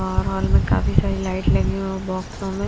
और हॉल में काफी सारी लाइट लगी है बॉक्सों में--